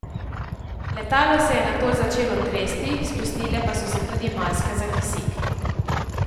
Letalo se je nato začelo tresti, spustile pa so se tudi maske za kisik.